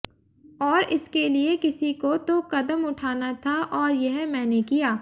और इसके लिए किसी को तो कदम उठाना था और यह मैंने किया